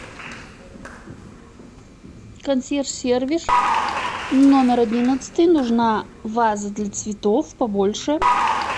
консьерж сервис номер одиннадцатый нужна ваза для цветов побольше